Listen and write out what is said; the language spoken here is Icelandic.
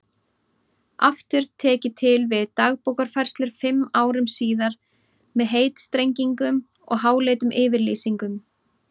Aftur tek ég til við Dagbókarfærslur fimm árum síðar með heitstrengingum og háleitum yfirlýsingum.